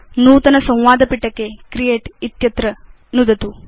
नूतन संवाद पिटके क्रिएट इत्यत्र नुदतु